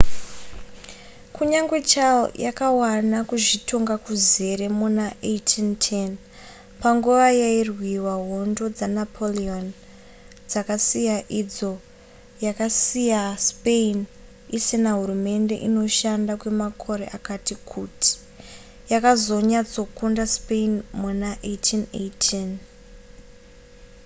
kunyangwe chile yakawana kuzvitonga kuzere muna 1810 panguva yairwiwa hondo dzanapoleon dzakasiya idzo yakasiyaspain isina hurumende inoshanda kwemakore akati kuti yakazonyatsokunda spain muna 1818